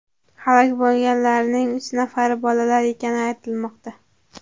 Halok bo‘lganlarning uch nafari bolalar ekani aytilmoqda.